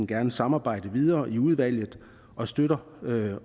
gerne samarbejde videre i udvalget og støtter